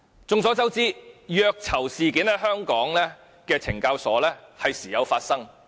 眾所周知，虐囚事件在香港懲教所時有發生。